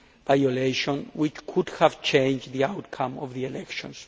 violation which could have changed the outcome of the elections.